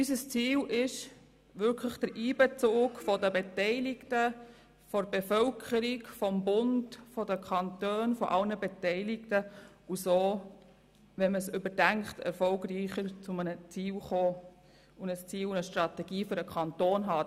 Unser Ziel ist es, durch den Einbezug der beteiligten Bevölkerung, des Bundes, der Kantone und aller Beteiligten zu einem Ziel zu kommen, indem man es überdenkt und zu einer Strategie für den Kanton kommt.